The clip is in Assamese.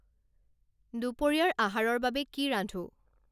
দুপৰিয়াৰ আহাৰৰ বাবে কি ৰান্ধোঁ